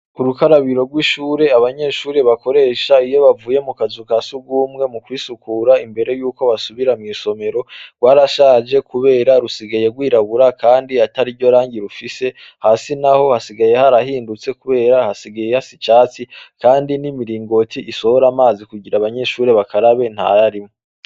Urukarabiro rw'ishure abanyeshure bokeresha iyo bavuye mukazu ka sugumwe mu kwisukura imbere yuko basubira mw'isomero rwarashaje kubera rusigaye rw'irabura kandi atariryo rangi rufise hasi naho hasigaye harahindutse kubera hasigaye hasa icatsi kandi n'imiringoti isohora amazi kugira abanyeshure bakarabe ntayarimwo.